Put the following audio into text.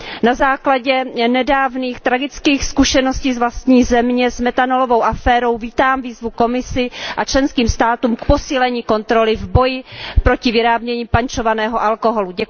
Na základě nedávných tragických zkušeností z vlastní země s metanolovou aférou vítám výzvu Komisi a členským státům k posílení kontroly v boji proti vyrábění pančovaného alkoholu.